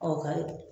Ɔ kayi